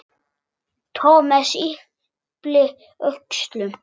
Thomas yppti öxlum.